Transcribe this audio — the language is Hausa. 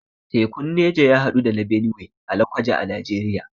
Tekun Neja ya haɗu da na Benue a lokoja a Najeriya